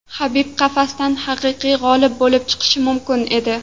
Habib qafasdan haqiqiy g‘olib bo‘lib chiqishi mumkin edi.